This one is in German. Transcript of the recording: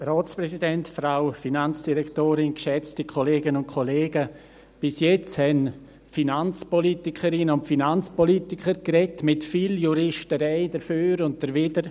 Bis jetzt haben die Finanzpolitikerinnen und Finanzpolitiker mit viel Juristerei dafür und dawider gesprochen.